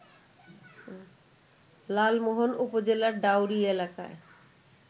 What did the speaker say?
লালমোহন উপজেলার ডাওরী এলাকায়